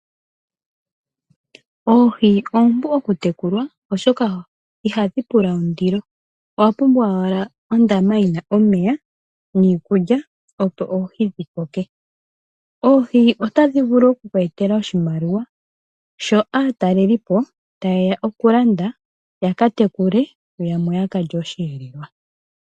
Oohi oompu oku tekulwa, oshoka ihadhi pula ondilo, owa pumbwa owala ondama yina omeya niikulya opo oohi dhi koke. Oohi otadhi vulu oku ku etela oshimaliwa sho aatalelipo ta yeya oku landa ya katekule, yo yamwe ya kalye oshi elelwa.